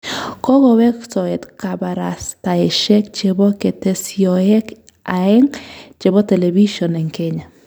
Kokoweek soet kabarastaeshek chebo ketesyosyek aeng chebo telebision eng Kenya